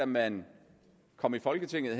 man kom i folketinget